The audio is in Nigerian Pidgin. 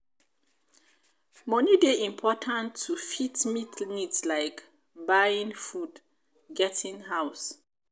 money dey important to fit meet needs like buying food getting house